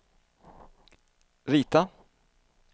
rita